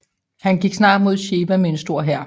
Han gik snart mod Shewa med en stor hær